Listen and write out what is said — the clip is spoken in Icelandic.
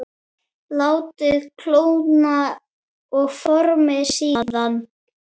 Látið kólna og formið síðan.